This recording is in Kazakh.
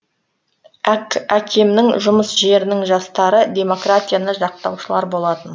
әкемнің жұмыс жерінің жастары демократияны жақтаушылар болатын